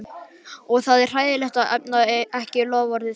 Og það er hræðilegt að efna ekki loforð.